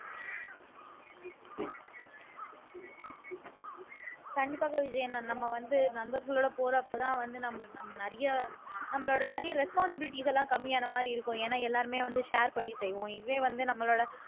கண்டிப்பாக விஜயன் நம்ம வந்து நண்பர்களோட போறப்பதான் வந்து நம்ம நிறைய நம்மளோட நிறைய responsibilities எல்லாம் கம்மியான மாதிரி இருக்கும் ஏன்னா எல்லாருமே வந்து share பண்ணி செய்வோம் இதுவே வந்து நம்மளோட